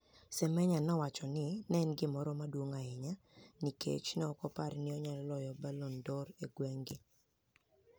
Semeniya nowacho ni eni gimoro maduonig ahiya niikech ni eoko opar ni oniyalo loyo Balloni d'or dinig'weni.